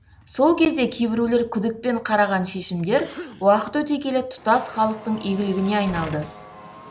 сол кезде кейбіреулер күдікпен қараған шешімдер уақыт өте келе тұтас халықтың игілігіне айналды